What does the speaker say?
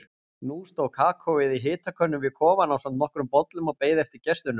Nú stóð kakóið í hitakönnu við kofann ásamt nokkrum bollum og beið eftir gestunum.